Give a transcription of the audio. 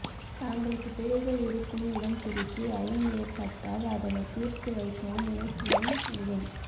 தாங்களுக்குப் பிழைகள் இருக்கும் இடம் குறித்து ஐயம் ஏற்பட்டால் அதனைத் தீர்த்து வைக்கவும் முனைப்புடன் உள்ளேன்